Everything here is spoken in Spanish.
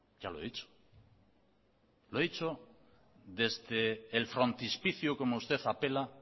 ya lo he dicho lo he dicho desde el frontispicio como usted apela